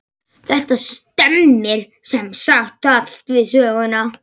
Þetta stemmir sem sagt allt við söguna.